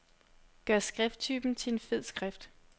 Gør skrifttypen til fed skrift.